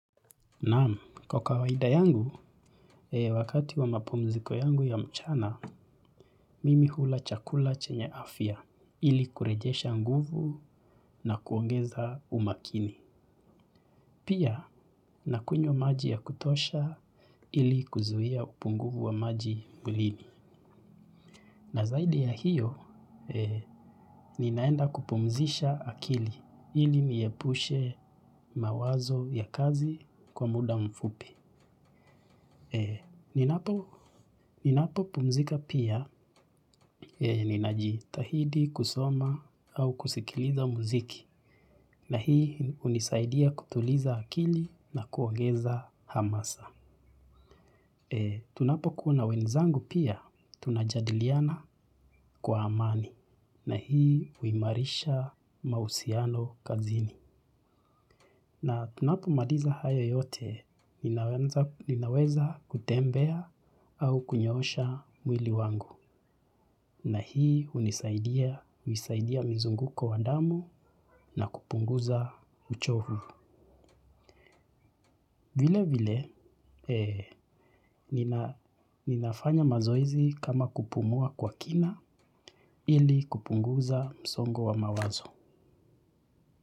Naam, kwa kawaida yangu, wakati wa mapumziko yangu ya mchana, mimi hula chakula chenye afya ili kurejesha nguvu na kuongeza umakini. Pia, nakunywa maji ya kutosha ili kuzuia upungufu wa maji mwilini. Na zaidi ya hiyo, ninaenda kupumzisha akili ili niepushe mawazo ya kazi kwa muda mfupi. Ninapopumzika pia ninajitahidi kusoma au kusikiliza muziki na hii hunisaidia kutuliza akili na kuongeza hamasa. Tunapokuwa na wenzangu pia tunajadiliana kwa amani na hii huimarisha mahusiano kazini. Na tunapomaliza haya yote, ninaweza kutembea au kunyoosha mwili wangu. Na hii hunisaidia mzunguko wa damu na kupunguza uchovu. Vile vile, ninafanya mazoezi kama kupumua kwa kina ili kupunguza msongo wa mawazo.